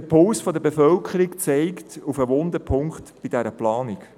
Der Puls der Bevölkerung verweist auf einen wunden Punkt in dieser Planung.